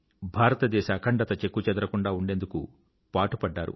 భారతదేశ అఖండత చెక్కుచెదరకుండా ఉండేందుకు పాటుపడ్డారు